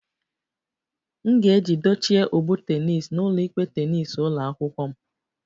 M ga-eji dochie ụgbụ tennis n'ụlọikpe tennis ụlọ akwụkwọ m